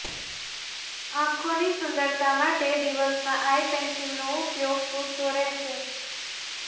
આંખોની સુંદરતા માટે દિવસમાં આઈ પેન્સિલનો ઉપયોગ પૂરતો રહેશે